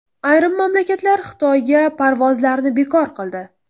Ayrim mamlakatlar Xitoyga parvozlarni bekor qildi.